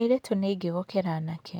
Airĩtu nĩ aingĩ gũkĩra anake.